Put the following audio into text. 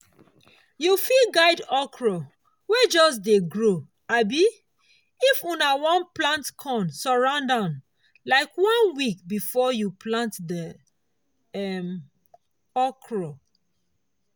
you fit guide okra wey just dey grow um if una plant corn surround am like one week before you plant the um okra